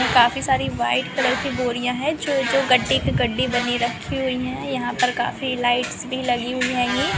काफी सारी white colour की बोरिया हैं जो गड्डी पे गड्डी बने रखे हुई हैं यहाँ पर काफी लाइट्स भी लगी हुई हैं। ये--